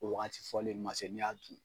O wagati fɔlen ma se n'i y'a dun